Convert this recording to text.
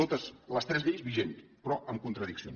totes les tres lleis vigents però amb contradiccions